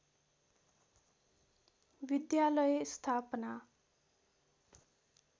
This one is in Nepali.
विद्यालय स्थापना